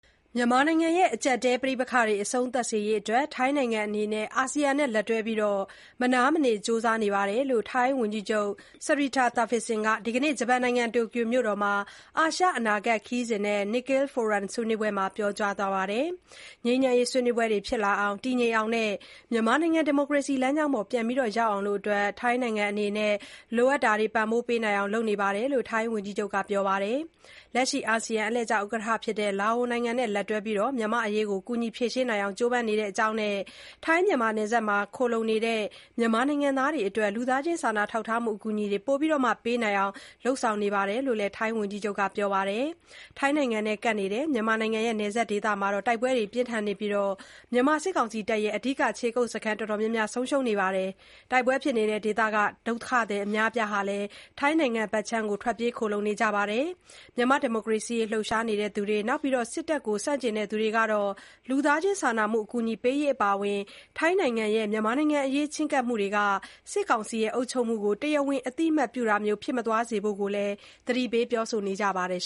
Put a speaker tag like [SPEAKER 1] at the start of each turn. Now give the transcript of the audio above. [SPEAKER 1] မြန်မာနိုင်ငံရဲ့ အကျပ်အတည်း ပဋိပက္ခတွေ အဆုံးသတ်ရေးအတွက် ထိုင်းနိုင်ငံအနေနဲ့ အာဆီယံနဲ့ လက်တွဲပြီး မနားမနေ ကြိုးစားနေပါတယ်လို့ ထိုင်းဝန်ကြီးချုပ် Srettha Thavisin က ဒီနေ့ ဂျပန်နိုင်ငံ တိုကျိုမြို့တော်မှာ အာရှအနာဂတ်ခေါင်းစဉ်နဲ့ Nikkei Forum ဆွေးနွေးပွဲမှာ ပြောကြားသွားပါတယ်။ ငြိမ်းချမ်းရေးဆွေးနွေးပွဲတွေဖြစ်လာအောင်၊ တည်ငြိမ်အောင်နဲ့ မြန်မာနိုင်ငံ ဒီမိုကရေစီလမ်းကြောင်းပေါ် ပြန်ရောက်အောင် လိုအပ်တာ ပံ့ပိုးနိုင်ဖို့ ထိုင်းနိုင်ငံအနေနဲ့ လုပ်နေပါတယ်လို့ ဝန်ကြီးချုပ် Srettha ကပြောပါတယ်။ လက်ရှိ အာဆီယံ အလှည့်ကျ ဥက္ကဋ္ဌ ဖြစ်တဲ့ လာအိုနိုင်ငံနဲ့ လက်တွဲပြီး မြန်မာ့အရေးကို ကူညီဖြေရှင်းနိုင်အောင် ကြိုးပမ်းနေတဲ့အကြောင်းနဲ့ ထိုင်းမြန်မာနယ်ခြားမှာ ခိုလှုံနေတဲ့ မြန်မာနိုင်ငံသားတွေအတွက် လူသားချင်း စာနာမှု အကူအညီပိုပြီး ပေးနိုင်အောင် လုပ်ဆောင်နေတယ်လို့လည်း ပြောပါတယ်။ ထိုင်းနဲ့ကပ်နေတဲ့ မြန်မာနိုင်ငံ နယ်စပ်ဒေသတွေမှာ တိုက်ပွဲတွေ ပြင်းထန်နေပြီး မြန်မာ စစ်တပ်ရဲ့ အဓိက ခြေကုတ်စခန်းတော်တော်များ ဆုံးရှုံးခဲ့ပါတယ်။ တိုက်ပွဲဖြစ်နေတဲ့ ဒေသတွေက ဒုက္ခသည် အများအပြားလည်း ထိုင်းနိုင်ငံထဲကို ထွက်ပြေးခိုလှုံနေကြပါတယ်။ မြန်မာ့ဒီမိုကရေစီရေး လှုပ်ရှားနေသူတွေ၊ စစ်တပ်ကို ဆန့်ကျင်သူတွေကတော့ လူသားချင်းစာနာမှု အကူအညီပေးရေးအပါအဝင် ထိုင်းနိုင်ငံရဲ့ မြန်မာနိုင်ငံအရေး ချဉ်းကပ်မှုတွေဟာ စစ်ကောင်စီ အုပ်ချုပ်မှုကို တရားဝင် အသိအမှတ်ပြုတာမျိုး ဖြစ်မသွားစေဖို့ သတိပေး ပြောဆိုနေကြပါတယ်